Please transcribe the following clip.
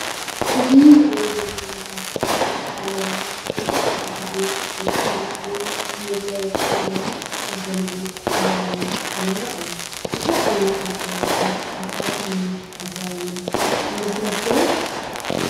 እዚ እንሪኦ ዘለና ምስሊ ዓለባ መብዛሐቲኡ ግዜ ደቂ ኣንስትዮ ንመጋየፂ ኢለን ዝክደንኦ በህላዊ ዓለባ እዩ። እዚ ዓይነት መጋየፂ እንታይ ዓይነት ዲዛይን ይመስለኩም?